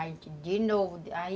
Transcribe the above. Aí, de novo, aí...